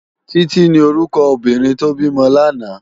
Titi ni órúkò óbìrín tó bimò làná